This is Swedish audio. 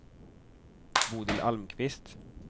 Bodil Almqvist